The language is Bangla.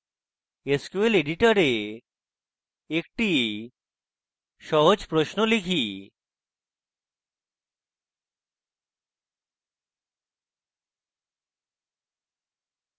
sql editor একটি সহজ প্রশ্ন type